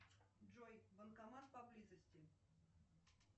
джой банкомат поблизости